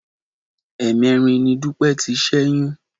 Ẹ̀ẹ̀mẹ́rin ni Dúpẹ́ ti ṣẹ́yún